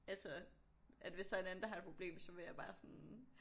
Altså at hvis der er en anden der har et problem så var jeg bare sådan